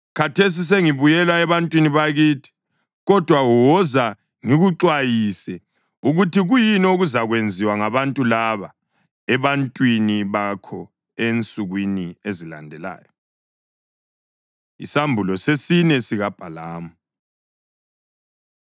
Khathesi sengibuyela ebantwini bakithi, kodwa woza, ngikuxwayise ukuthi kuyini okuzakwenziwa ngabantu laba ebantwini bakho ensukwini ezilandelayo.” Isambulo Sesine SikaBhalamu